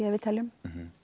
að við teljum